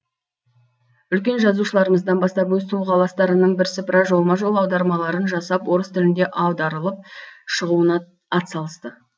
үлкен жазушыларымыздан бастап өз тұрғыластарының бірсыпыра жолма жол аудармаларын жасап орыс тілінде аударылып шығуына атсалысты